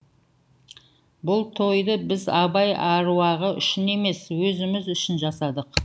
бұл тойды біз абай аруағы үшін емес өзіміз үшін жасадық